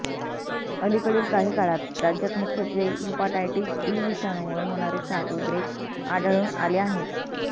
अलिकडील काही काळात राज्यात मुख्यत्वे हीपाटायटीस ई विषाणू मुळे होणारे साथ उद्रेक आढळून आले आहेत